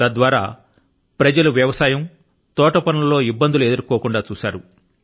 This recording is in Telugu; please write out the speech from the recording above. తద్ద్వారా ప్రజలు వ్యవసాయం లో తోటపనుల లో ఇబ్బందులు ఎదుర్కోకుండా చూశారు